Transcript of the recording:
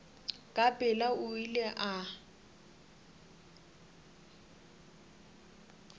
ka pela o ile a